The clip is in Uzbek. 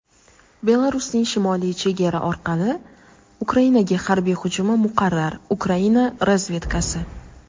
Belarusning shimoliy chegara orqali Ukrainaga harbiy hujumi muqarrar – Ukraina razvedkasi.